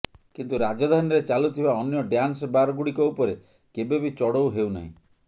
କିନ୍ତୁ ରାଜଧାନୀରେ ଚାଲୁଥିବା ଅନ୍ୟ ଡ୍ୟାନ୍ସ ବାର୍ଗୁଡ଼ିକ ଉପରେ କେବେ ବି ଚଢ଼ଉ ହେଉନାହିଁ